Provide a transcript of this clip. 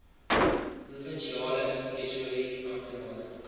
provinsiale tesourie amptenare